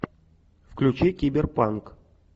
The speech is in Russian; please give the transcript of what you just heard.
включи киберпанк